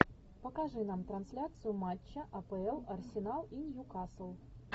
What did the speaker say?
покажи нам трансляцию матча апл арсенал и ньюкасл